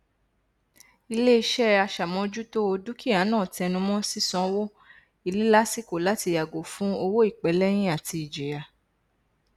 iléiṣẹ aṣàmójútó o dúkìá náà tẹnumọ sísanwó ilé lásìkò láti yàgò fún owó ìpẹlẹyìn àti ìjìyà